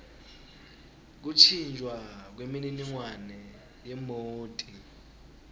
kuntjintjwa kwemininingwane yemoti